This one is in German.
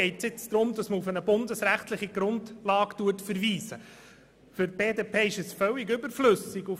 Hier wird auf eine bundesrechtliche Grundlage verwiesen, was aus der Sicht der BDP völlig überflüssig ist.